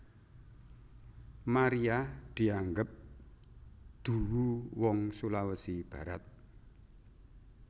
Maria dianggep duwu wong Sulawesi Barat